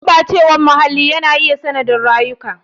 Gurɓacewar muhalli yana iya sanadin rasa rayukansu.